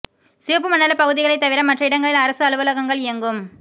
சிவப்பு மண்டல பகுதிகளை தவிர மற்ற இடங்களில் அரசு அலுவலகங்கள் இயங்கும்